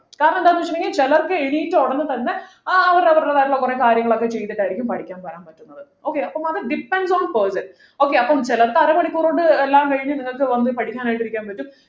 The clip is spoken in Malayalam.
കാരണമെന്താണ് ചോദിച്ചു കഴിഞ്ഞാൽ ചിലർക്ക് എണീറ്റ ഉടനെ തന്നെ ആ അവരവരുടേതായിരുള്ള കുറെ കാര്യങ്ങളൊക്കെ ചെയ്തിട്ടായിരിക്കും പഠിക്കാൻ വരാൻ പറ്റുന്നത് okay അപ്പൊ അത് depends on person okay അപ്പം ചിലർക്ക് അരമണിക്കൂർ കൊണ്ട് എല്ലാം കഴിഞ്ഞു നിങ്ങക്ക് വന്നു പഠിക്കാനായിട്ടിരിക്കാൻ പറ്റും